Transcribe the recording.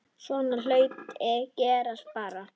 Svona hlutir gerast bara.